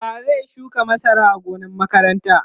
wa zai shuka masara a gonan makaranta?